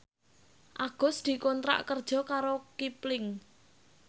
Agus dikontrak kerja karo Kipling